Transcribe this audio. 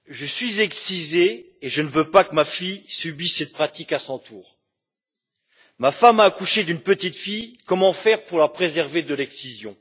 Monsieur le Président, Je suis excisée et je ne veux pas que ma fille subisse cette pratique à son tour. Ma femme a accouché d'une petite fille, comment faire pour la préserver de l'excision?